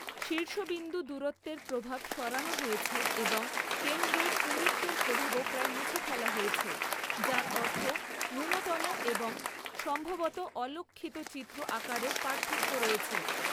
শীর্ষবিন্দু দূরত্বের প্রভাব সরানো হয়েছে এবং কেন্দ্রের পুরুত্বের প্রভাবও প্রায় মুছে ফেলা হয়েছে, যার অর্থ ন্যূনতম এবং সম্ভবত অলক্ষিত চিত্র আকারের পার্থক্য রয়েছে।